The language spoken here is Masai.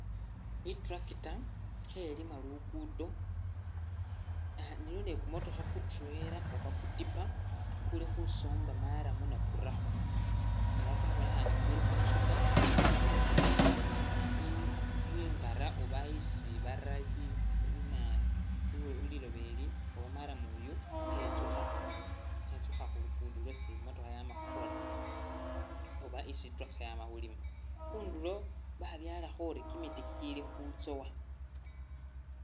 I'tractor khelima lugudo ah iliwo ni kumotokha ku trailer oba kutipa ukuli khusomba marram ne kurakho ela kwabonekhane kuli khusuta, khusuta i ingara oba isi bari li lina liloba ili oba marram uyu khetsukha-khetsukha khu lugudo lwesi i'motokha yama khukhola oba isi i'tractor yama khulima. Khundulo babyaalakho uri kimiti ikili khutsowa.